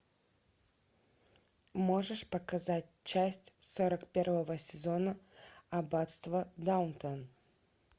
можешь показать часть сорок первого сезона аббатство даунтон